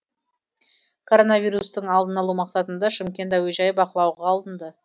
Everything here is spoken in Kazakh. коронавирустың алдын алу мақсатында шымкент әуежайы бақылауға алынды